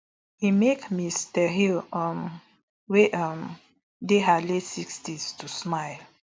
e make ms tahir um wey um dey her late sixties to smile